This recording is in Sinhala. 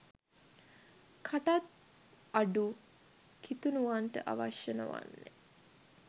කටත් අඩු කිතුණුවන්ට අවශ්‍ය නොවන්නේ